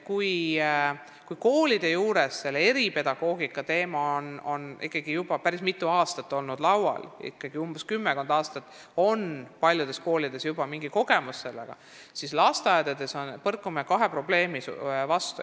Kui koolide juures on eripedagoogika teemaga ikkagi juba päris tükk aega tegeldud – umbes kümmekond aastat on paljudel koolidel sellega juba mingi kogemus –, siis lasteaedades põrkume kahe probleemi vastu.